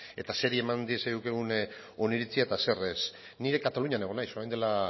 eta zeri eman diezaiokegun oniritzia eta zer ez ni ere katalunian egon naiz orain dela